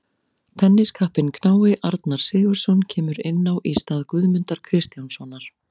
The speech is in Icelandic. Tenniskappinn knái Arnar Sigurðsson kemur inn á í stað Guðmundar Kristjánssonar.